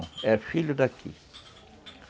Não, é filho daqui.